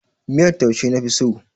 Miyar taushe na fi so.